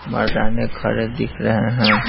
मर्दाने खड़े दिख रहे हैं।